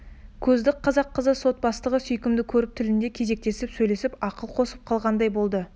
көзді қазақ қызы сот бастығына сүйкімді көрінді тілінде кезектесіп сөйлесіп ақыл қосып қалғандай болды